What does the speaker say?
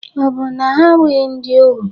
Ọ̀ bụ na ha abụghị ndị ohu?